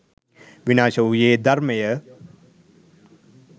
විනාශ වූයේ ධර්මයය.